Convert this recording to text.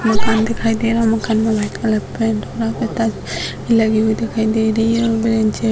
मकान दिखाई दे रहा है मकान में व्हाइट कलर का पेंट हुआ और टाइल्स भी लगी हुई दिखाई दे रही है और ब्रेंचे --